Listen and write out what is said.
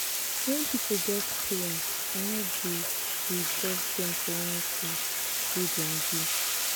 wen pipo get pain i no dey dey judge dem for anytin wey dem do.